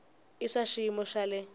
i swa xiyimo xa le